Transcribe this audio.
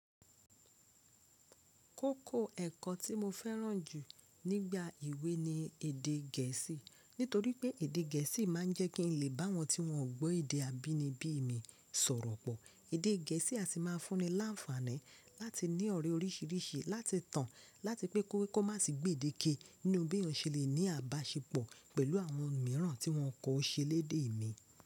Kókó ẹ̀kọ́ tí mo fẹ́ràn jù nígbà ìwé ni èdè gẹ̀ẹ́sì. Nítorí pé èdè gẹ̀ẹ́sì máa ń jẹ́ kí n lè bá wọn tí wọn ò gbọ́ èdè abínibí mi sọ̀rọ̀ pọ̀. Èdè gẹ̀ẹ́sì a sì máa fún ni láǹfààní láti ní ọ̀rẹ́ orísìírísìí láti tàn láti pẹ́ kó má sì gbèdéke nínú bí èyàn se lè ní àbáṣepọ̀ pẹ̀lú àwọn mìíràn tí wọn kò ṣe eléde mi.